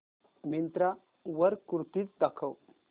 मिंत्रा वर कुर्तीझ दाखव